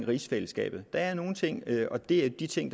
rigsfællesskabet der er nogle ting og det er de ting